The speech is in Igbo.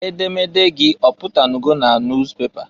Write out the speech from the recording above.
Edemede gị ọpụtanụgo na nus pepa?